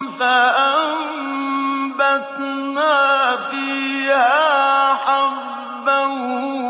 فَأَنبَتْنَا فِيهَا حَبًّا